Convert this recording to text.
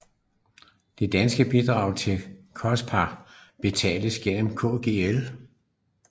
Det danske bidrag til COSPAR betales gennem Kgl